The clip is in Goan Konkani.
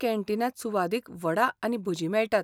कॅन्टीनांत सुवादीक वडा आनी भजीं मेळटात.